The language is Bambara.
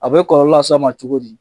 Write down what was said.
A bɛ kɔlɔlɔ las'a ma cogo di?